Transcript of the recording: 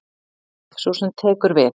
Sú sem tekur við.